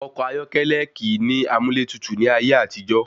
Ọkọ̀ ayọ́kẹ́lẹ́ kìí ní amúlẹ́tutù ní ayé àtijó.